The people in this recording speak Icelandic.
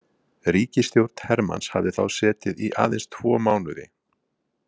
Ríkisstjórn Hermanns hafði þá setið í aðeins tvo mánuði.